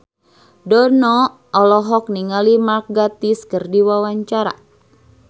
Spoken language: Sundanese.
Dono olohok ningali Mark Gatiss keur diwawancara